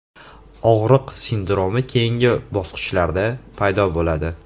Og‘riq sindromi keyingi bosqichlarda paydo bo‘ladi.